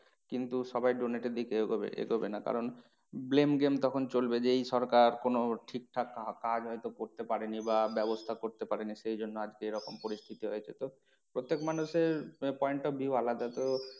কিন্তু সবাই donate এর দিকে এগোবে, এগোবে না কারণ blame game তখন চলবে যে এই সরকার কোনো ঠিকঠাক কাজ হয়তো করতে পারেনি বা ব্যবস্থা করতে পারেনি সেইজন্যে আজকে এরকম পরিস্থিতি হয়েছে তো প্রত্যেক মানুষের point of view আলাদা তো